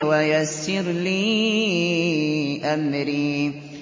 وَيَسِّرْ لِي أَمْرِي